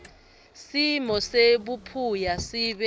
simo sebuphuya sibe